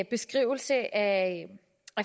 beskrivelse af